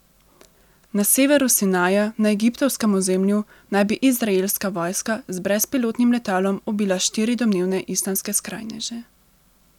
Na severu Sinaja na egiptovskem ozemlju naj bi izraelska vojska z brezpilotnim letalom ubila štiri domnevne islamske skrajneže.